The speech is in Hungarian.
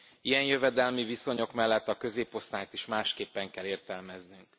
Ilyen jövedelmi viszonyok mellett a középosztályt is másképpen kell értelmeznünk.